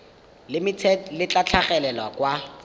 limited le tla tlhagelela kwa